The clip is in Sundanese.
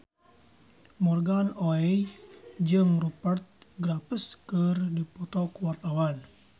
Morgan Oey jeung Rupert Graves keur dipoto ku wartawan